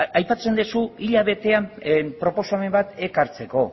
aipatzen duzu hilabetean proposamen bat ekartzeko